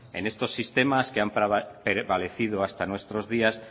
en estos sistemas que han prevalecido hasta nuestros días